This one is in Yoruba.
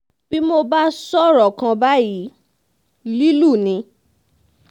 bí mo bá sọ̀rọ̀ kan báyìí lílù ni